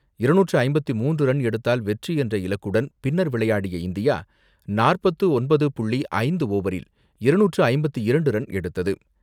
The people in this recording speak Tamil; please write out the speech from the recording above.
இருநூற்று ஐம்பத்து மூன்று ரன் எடுத்தால் வெற்றி என்ற இலக்குடன் பின்னர் விளையாடிய இந்தியா நாற்பத்து ஒன்பது புள்ளி ஐந்து ஓவரில் இருநூற்று ஐம்பத்து இரண்டு ரன் எடுத்தது.